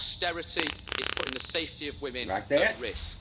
Austerity is putting the safety of women at risk.